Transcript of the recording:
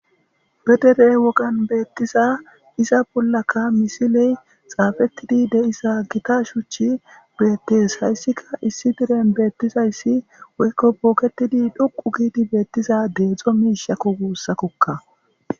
be dere wogan beettiza iza bollaka misiley xaafettidi de7isa gita shuchi beettes hayssika issi diren beettizayssi woykko booketidi dhuqu giidi beettiza deedzdzo miishakko guussakokka